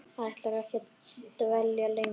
Ætlarðu ekki að dvelja lengur?